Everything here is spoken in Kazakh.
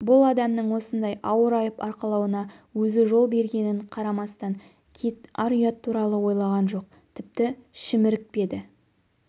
бұл адамның осындай ауыр айып арқалауына өзі жол бергенін қарамастан кит ар-ұят туралы ойлаған жоқ тіпті шімірікпеді